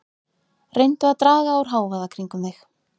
Reyndu að draga úr hávaða kringum þig.